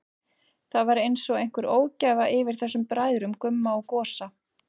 Það var einsog einhver ógæfa yfir þessum bræðrum, Gumma og Gosa.